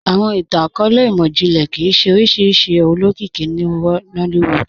Awọn ìtàn-akọọlẹ̀ imọ-jinlẹ kíí ṣẹ oriṣiríṣi olókìkì ní Nollywood